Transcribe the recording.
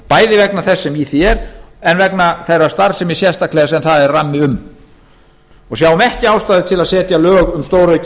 bæði vegna þess sem í því er og þó sérstaklega þeirri starfsemi sem það er rammi um við sjáum ekki ástæðu til að setja lög um stóraukin